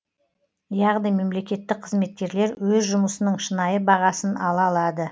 яғни мемлекеттік қызметкерлер өз жұмысының шынайы бағасын ала алады